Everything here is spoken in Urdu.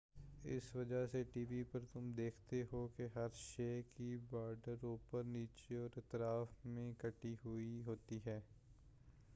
اسی وجہ سے ٹی وی پر تم دیکھتے ہو کہ ہر شے کی بارڈر اوپر نیچے اور اطراف میں کٹی ہوتی ہے